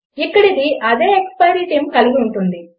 ఇక అది అదే ఎక్స్పైరి టైమ్ కలిగి ఉంటుంది